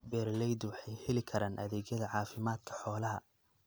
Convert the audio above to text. Beeraleydu waxay heli karaan adeegyada caafimaadka xoolaha.